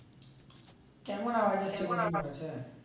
কেমন